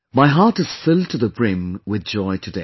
My heart is filled to the brim with joy today